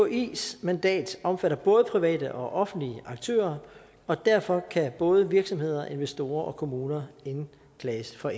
mkis mandat omfatter både private og offentlige aktører og derfor kan både virksomheder investorer og kommuner indklages for